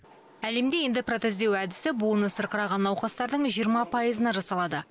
әлемде эндопротездеу әдісі буыны сырқыраған науқастардың жиырма пайызына жасалады